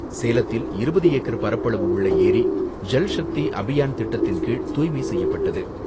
சேலத்தில் இருபது ஏக்கர் பரப்பளவு உள்ள ஏரி, ஜல்ஷக்தி அபியான் திட்டத்தின்கீழ் தூய்மை செய்யப்பட்டது.